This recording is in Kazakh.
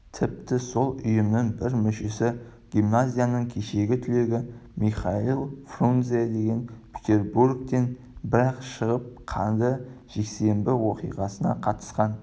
тіпті сол ұйымның бір мүшесі гимназияның кешегі түлегі михаил фрунзе деген петербургтен бір-ақ шығып қанды жексенбі оқиғасына қатысқан